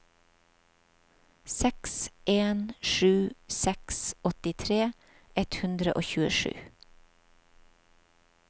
seks en sju seks åttitre ett hundre og tjuesju